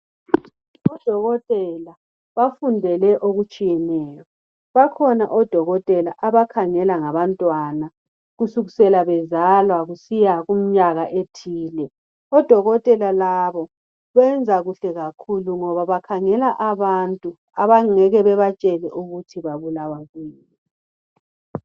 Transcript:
Odokotela bafundele okutshiyeneyo bakhona odokotela abakhangela ngabantwana kusukisela bezalwa kusiya kumnyaka ethile. Odokotela labo benza kuhle kakhulu ngoba bakhangela abantu abangeke babatshele ukuthi babulawa kuyini.